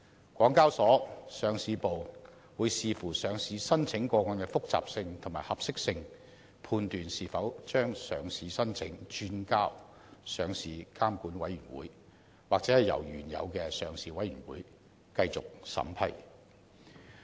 香港交易及結算所有限公司上市部會視乎上市申請個案的複雜性和合適性，判斷是否把上市申請轉交上市監管委員會，或由原有的上市委員會繼續審批。